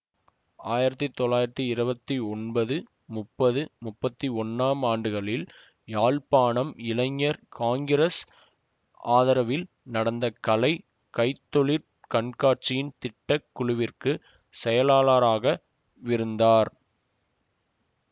ஆயிரத்தி தொள்ளாயிரத்தி இருவத்தி ஒன்பது முப்பது முப்பத்தி ஒன்னாம் ஆண்டுகளில் யாழ்ப்பாணம் இளைஞர் காங்கிரசின் ஆதரவில் நடந்த கலை கைத்தொழிற் கண்காட்சியின் திட்ட குழுவிற்கு செயலாளராக விருந்தார்